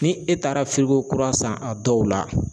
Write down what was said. Ni e taara kura san a dɔw la